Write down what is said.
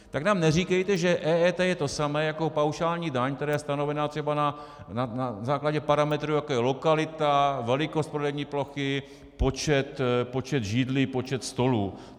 Tak nám neříkejte, že EET je to samé jako paušální daň, která je stanovena třeba na základě parametrů, jako je lokalita, velikost prodejní plochy, počet židlí, počet stolů.